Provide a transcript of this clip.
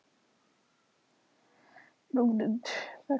Patrisía, hversu margir dagar fram að næsta fríi?